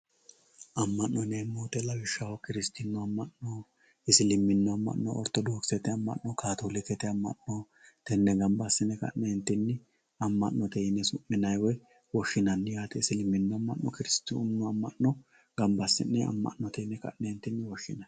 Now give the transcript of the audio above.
Ama'note yineemmo woyte lawishshaho kiristanu ama'no isilimini ama'no orthodokisete ama'no, katolikete ama'no tene gamba assine ama'note yine su'minanni woyi woshshinanni yaate isiliminu ama'no kiristanu ama'no gamba assine ka'ne ama'note yine woshshinanni.